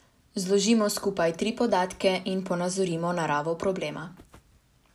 Zložimo skupaj tri podatke in ponazorimo naravo problema.